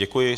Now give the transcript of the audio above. Děkuji.